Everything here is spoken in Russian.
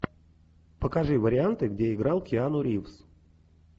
покажи варианты где играл киану ривз